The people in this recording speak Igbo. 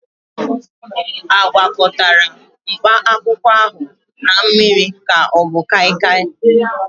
A gwakọtara mkpakwụkwọ ahụ na mmiri ka ọ bụ kaịkaị?